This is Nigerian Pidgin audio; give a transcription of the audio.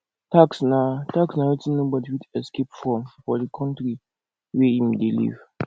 tax na tax na wetin nobody fit escape from for di country wey im dey live